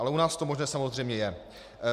Ale u nás to možné samozřejmě je.